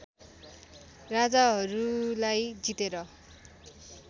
राजाहरूलाई जितेर